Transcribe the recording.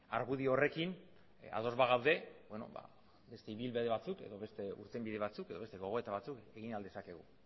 argudio horrekin ados bagaude beste ibilbide batzuk edo beste irtenbide batzuk edo beste gogoeta batzuk egin ahal dezakegu